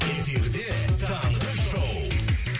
эфирде таңғы шоу